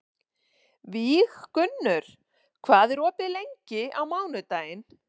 Víggunnur, hvað er opið lengi á mánudaginn?